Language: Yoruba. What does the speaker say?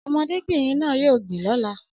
Ọmọdébìnrin náà yóò gbìn lọ́la